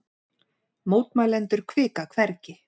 Mótmælendur hvika hvergi